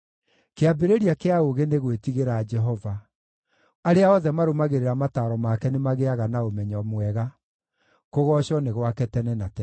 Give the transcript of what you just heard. Kĩambĩrĩria kĩa ũũgĩ nĩ gwĩtigĩra Jehova; arĩa othe marũmagĩrĩra mataaro make nĩmagĩĩaga na ũmenyo mwega. Kũgoocwo nĩ gwake tene na tene.